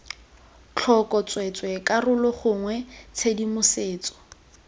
tlhoko tsweetswee karolo gongwe tshedimosetso